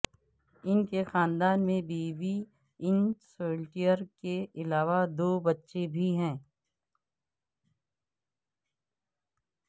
ان کے خاندان میں بیوی ان سولٹیئر کے علاوہ دو بچے بھی ہیں